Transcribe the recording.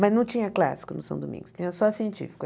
Mas não tinha clássico no São Domingos, tinha só científico.